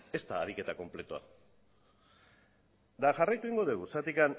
ez da ariketa konpletoa eta jarraitu egingo dugu